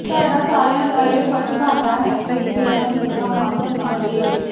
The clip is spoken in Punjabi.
ਸਾਡਾ ਸਾਰਿਆਂ ਦਾ ਇਹ ਫਰਜ ਬਣਦਾ ਹੈ ਕਿ ਅਸੀ ਇਨ੍ਹਾਂ ਨੰੂ ਪੂਰਾ ਮਾਣ ਸਨਮਾਨ ਦਈਏ